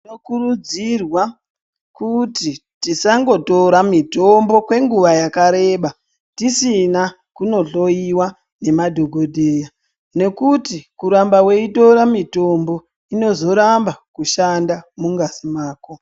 Tinokurudzirwa kuti tisangotora mitombo kwenguva yakareba tisina kumbohloiwa nemadhokodheya nekuti kuramba weitora mitombo yoramba kushanda mungazi mwako.